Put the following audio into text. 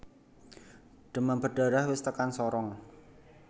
Demam berdarah wis tekan Sorong